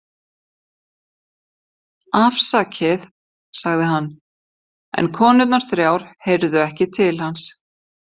Afsakið, sagði hann, en konurnar þrjár heyrðu ekki til hans.